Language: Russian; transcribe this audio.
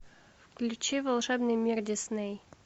включи волшебный мир дисней